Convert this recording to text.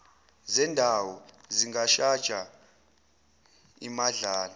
zendawo zingashaja imadlana